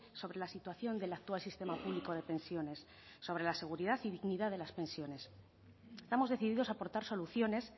sobre la situación del actual sistema público de pensiones sobre la seguridad y dignidad de las pensiones estamos decididos a aportar soluciones